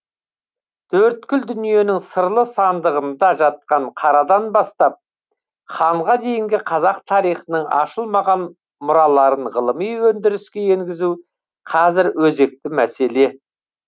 төрткүл дүниенің сырлы сандығында жатқан қарадан бастап ханға дейінгі қазақ тарихының ашылмаған мұраларын ғылыми өндіріске енгізу қазір өзекті мәселе